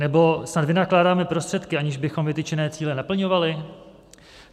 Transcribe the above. Nebo snad vynakládáme prostředky, aniž bychom vytyčené cíle naplňovali?